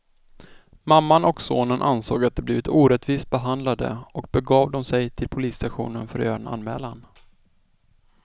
Mamman och sonen ansåg att de blivit orättvist behandlade och begav de sig till polisstationen för att göra en anmälan.